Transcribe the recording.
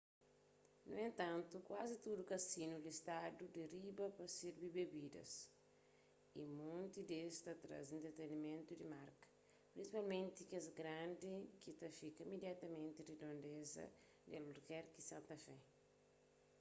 nu entantu kuazi tudu kazinu listadu di riba ta sirbi bebidas y monti des ta traze entretenimentu di marka prinsipalmenti kes grandi ki ta fika imidiatamenti ridondeza di albukerki y santa fé